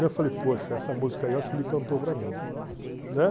Eu falei, poxa, essa música aí eu acho que ele cantou para mim